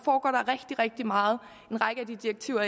rigtig rigtig meget en række af de direktiver